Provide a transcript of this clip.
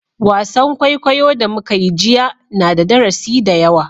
Wasan kwaikwayo da muka yi jiya na da darasi da yawa